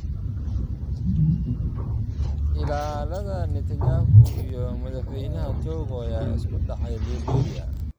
Ilaalada Netanyahu iyo Madaxweynaha Togo ayaa isku dhacay Liberia